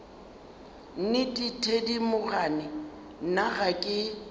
nnete thedimogane nna ga ke